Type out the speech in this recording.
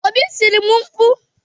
Obi tiri m mkpu.